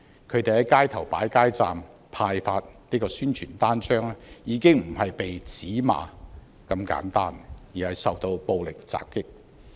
他們在街頭擺設街站派發宣傳單張時，已經不是被指罵這般簡單，而是受到暴力襲擊。